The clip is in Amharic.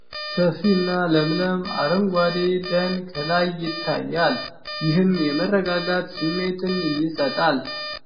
: ሰፊና ለምለም አረንጓዴ ደን ከላይ ይታያል፤ ይህም የመረጋጋት ስሜትን ይሰጣል።